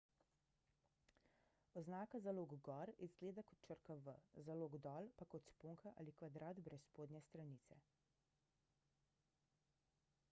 oznaka za lok gor izgleda kot črka v za lok dol pa kot sponka ali kvadrat brez spodnje stranice